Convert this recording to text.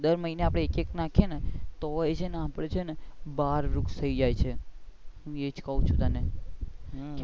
દર મહિને આપણે એક એક નાખીયે તો તોય છે ને આપડે છેને બાર વૃક્ષ થઇ જાય છે હું એજ કાઉ છું તને,